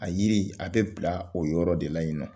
A yiri a bɛ bila o yɔrɔ de la yen nɔ